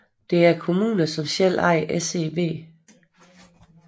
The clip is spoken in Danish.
Det er kommunerne som ejer SEV